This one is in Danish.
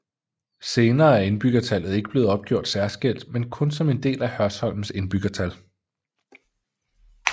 Senere er indbyggertallet ikke blevet opgjort særskilt men kun som en del af Hørsholms indbyggertal